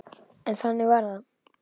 En þannig varð það.